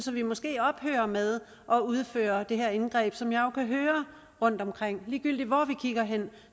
vi måske ophører med at udføre det her indgreb som jeg jo kan høre rundt omkring ligegyldigt hvor vi kigger hen